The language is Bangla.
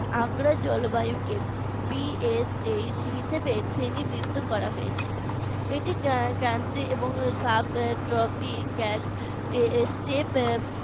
আগ্রা র জলবায়ুকে BSH হিসাবে শ্রেণীবিদ্ধ করা হয়েছে টি subtopical step